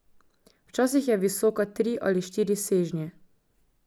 Včasih je visoka tri ali štiri sežnje.